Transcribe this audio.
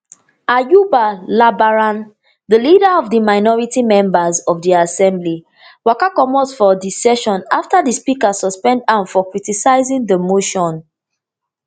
ayuba labaran di leader of di minority members for di assembly waka commot from di session afta di speaker suspend am for criticizing di motion